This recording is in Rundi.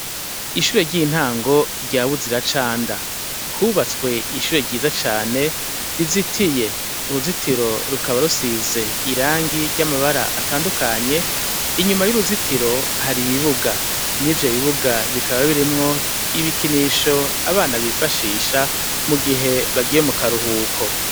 Ishure ry'intango ryawe uzira canda hubatswe ishure ryiza cane rizitiye uruzitiro rukaba rusize irangi ry'amabara atandukanye inyuma y'uruzitiro hari ibibuga ni vyo bibuga bikaba birimwo ibikinisho abana bifashisha mu gihe bagiye mukaruhuko.